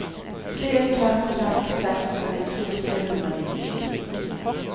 tre fem fem seks femtito tre hundre og nittisju